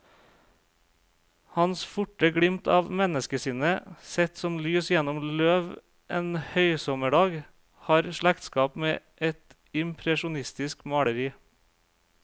Hans forte glimt av menneskesinnet, sett som lys gjennom løv en høysommerdag, har slektskap med et impresjonistisk maleri.